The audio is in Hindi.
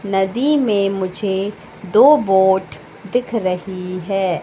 नदी में मुझे दो बोट दिख रही है।